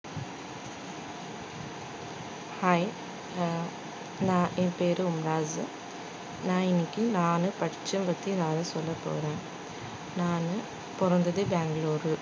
hi ஹம் நான் என் பேரு நான் இன்னைக்கி நானு படிச்சதப்பத்தி நானு சொல்லபோறேன் நானு பொறந்தது பெங்களூரு